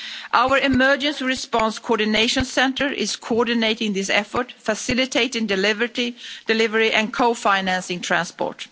Our Emergency Response Coordination Centre is coordinating this effort, facilitating delivery and co financing transport.